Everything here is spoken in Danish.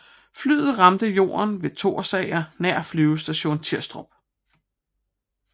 Flyet ramte jorden ved Thorsager nær Flyvestation Tirstrup